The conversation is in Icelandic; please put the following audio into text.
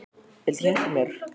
Viltu hjálpa mér?